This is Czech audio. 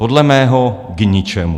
Podle mého k ničemu.